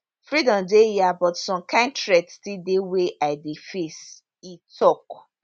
freedom dey hia but some kain threat still dey wey i dey face e tok